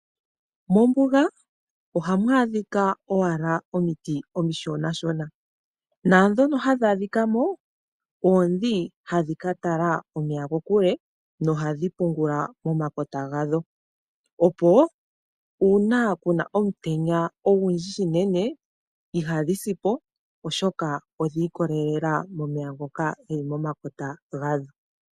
Mombuga ohamu adhika owala omiti omishonashona. Naandhono hadhi adhika mo oondhi hadhi ka tala omeya kokule nohadhi pungula momakota gadho, opo uuna ku na omutenya ogundji noonkondo ihadhi si po, oshoka odhi ikolelela momeya ngoka ge li momakota gadho.